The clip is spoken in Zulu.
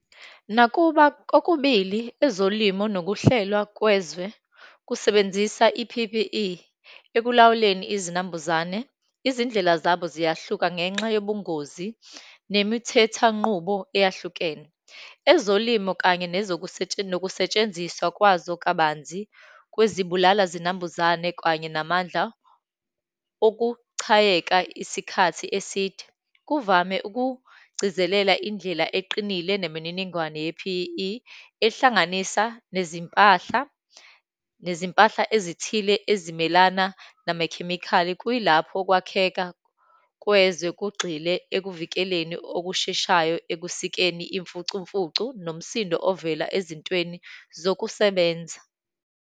Nakuba kokubili, ezolimo nokuhlelwa kwezwe, kusebenzisa i-P_P_E ekulawuleni izinambuzane, izindlela zabo ziyahluka ngenxa yobungozi nemithethanqubo eyahlukene. Ezolimo, kanye nokusetshenziswa kwazo kabanzi kwezibulala zinambuzane, kanye namandla okuchayeka isikhathi eside, kuvame ukugcizelela indlela eqinile nemininingwane ye-P_E_E ehlanganisa nezimpahla, nezimpahla ezithile ezimelana namakhemikhali. Kuyilapho ukwakheka kwezwe kugxile ekuvikeleni okusheshayo ekusikeni imfucumfucu, nomsindo ovela ezintweni zokusebenza.